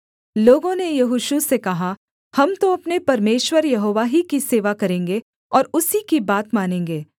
लोगों ने यहोशू से कहा हम तो अपने परमेश्वर यहोवा ही की सेवा करेंगे और उसी की बात मानेंगे